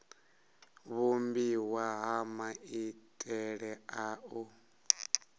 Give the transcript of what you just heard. vhumbiwa ha maitele a u